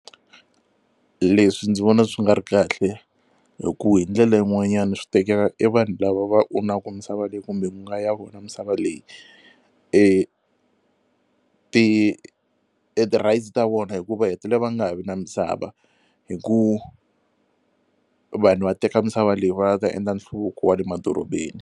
Leswi ndzi vona swi nga ri kahle hi ku hi ndlela yin'wanyana swi tekela e vanhu lava va misava leyi kumbe ku nga ya vona misava leyi e ti ti-rights ta vona hi ku va hetele va nga ha vi na misava hi ku vanhu va teka misava leyi va lava ku ta endla nhluvuko wa le madorobeni.